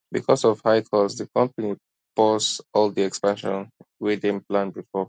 because of high cost di company pause all di expansion wey dem plan before